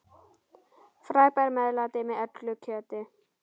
Frábært meðlæti með öllu kjöti.